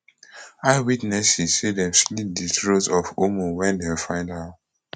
eyewitnesses say dem slit di throat of ummu wen dem find her